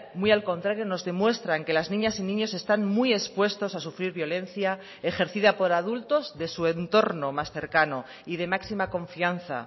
muy al contrario nos demuestran que las niñas y niños están muy expuestos a sufrir violencia ejercida por adultos de su entorno más cercano y de máxima confianza